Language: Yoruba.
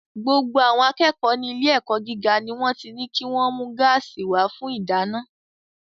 Gbogbo àwọn akẹ́kọ̀ọ́ ní ilé-ẹ̀kọ́ gíga ni wọ́n ti ní kí wọ́n mú gáàsì wá fún ìdáná.